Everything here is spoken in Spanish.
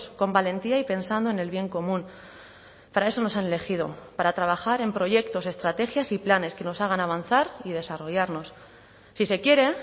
con valentía y pensando en el bien común para eso nos han elegido para trabajar en proyectos estrategias y planes que nos hagan avanzar y desarrollarnos si se quiere